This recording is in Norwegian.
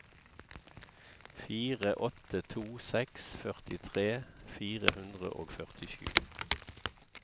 fire åtte to seks førtitre fire hundre og førtisju